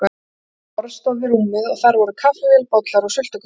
Lítið borð stóð við rúmið og þar voru kaffivél, bollar og sultukrukka.